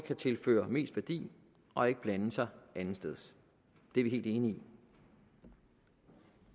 kan tilføre mest værdi og ikke blande sig andetsteds det er vi helt enige i